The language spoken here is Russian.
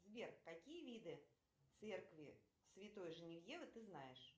сбер какие виды церкви святой женевьевы ты знаешь